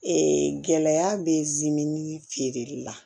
gɛlɛya bɛ feereli la